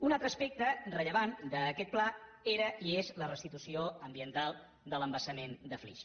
un altre aspecte rellevant d’aquest pla era i és la restitució ambiental de l’embassament de flix